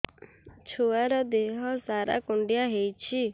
ଛୁଆର୍ ଦିହ ସାରା କୁଣ୍ଡିଆ ହେଇଚି